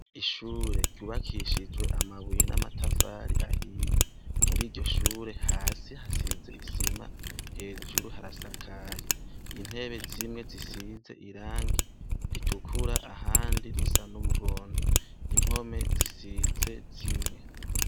Ishure ryubakishijwe amabuye n' amatafari ahiye muri iryo shure hasi hasize isima hejuru harasakaye intebe zimwe zisize irangi ritukura ahandi risa n' umuhondo impome zisize zine.